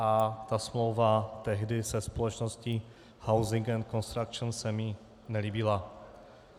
A ta smlouva tehdy se společností Housing and Costruction se mi nelíbila.